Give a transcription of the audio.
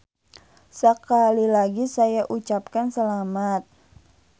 Sekali lagi saya ucapkan selamat.